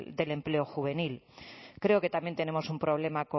del empleo juvenil creo que también tenemos un problema